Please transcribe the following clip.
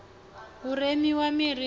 hu remiwe miri hu u